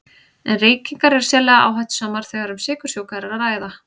En reykingar eru sérlega áhættusamar þegar um sykursjúka er að ræða.